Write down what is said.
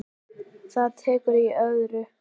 Það er tekið í öðru.